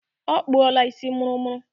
Ọ kpụọla isi mụrụmụrụ.